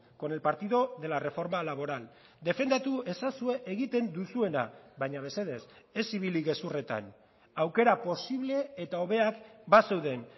con el partido de la reforma laboral defendatu ezazue egiten duzuena baina mesedez ez ibili gezurretan aukera posible eta hobeak bazeuden